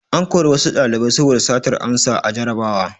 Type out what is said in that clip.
An kori wasu ɗalibai saboda satar amsa a jarrabawa.